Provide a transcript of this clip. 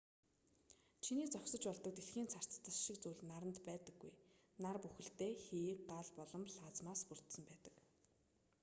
чиний зогсож болдог дэлхийн царцдас шиг зүйл наранд байдаггүй нар бүхэлдээ хий гал болон плазмаас бүрдсэн байдаг